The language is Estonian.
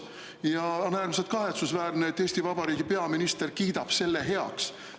Ja on äärmiselt kahetsusväärne, et Eesti Vabariigi peaminister kiidab selle heaks.